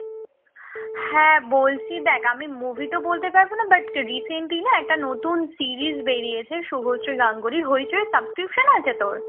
হ্যাঁ বলছি দেখ আমি movie তো বলতে পারব না but recently একটা নতুন series বেরিয়েছে শুভশ্রী গাঙ্গুলীর হৈচৈ এ subscription তাইতো আছে তোর